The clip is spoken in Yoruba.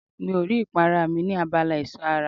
Mi ò rí ìpara mi ní abala ẹ̀ṣọ́ ara.